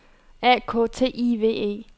A K T I V E